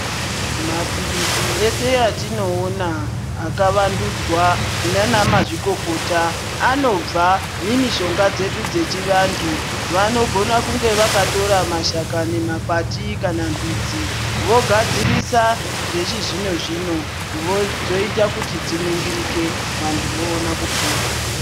Mapilizi eshe atinoona akavandudzaa ndianamazvikokota anobva mumishonga dzedu dzechiantu vanogona kunge vakatora maskani, mwakati kana mbidzi vogadzirisa zvechizvino-zvino voita kuti dziningirike vanyu voona kupona.